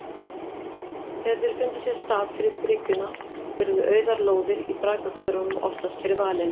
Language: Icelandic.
Þegar þeir fundu sér stað fyrir bygginguna urðu auðar lóðir í braggahverfunum oftast fyrir valinu.